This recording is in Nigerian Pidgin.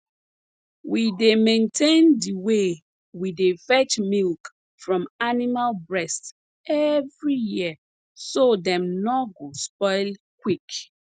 we dey maintain de way we dey fetch milk from animal breast every year so dem nor go spoil quick